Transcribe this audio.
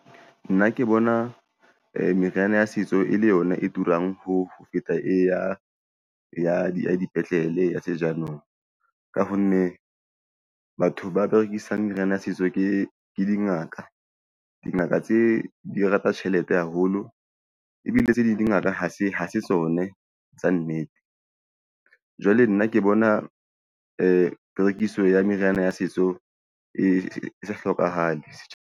Nna ke bona meriana ya setso e le yona e turang ho feta, e ya dipetlele, ya se jaanong ka honne batho ba rekisang meriana ya setso ke dingaka. Dingaka tse di rata tjhelete haholo ebile tse ding di ngaka ha se tsone tsa nnete. Jwale nna ke bona perekiso ya meriana ya setso e sa hlokahale setjha.